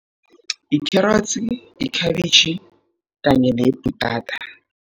Yikherotsi, ikhabitjhi kanye nebhutata.